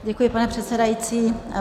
Děkuji, pane předsedající.